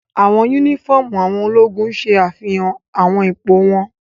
Awọn unifọmú awọn ologun ṣe afihan awọn ipo wọn